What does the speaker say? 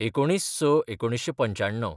१९/०६/१९९५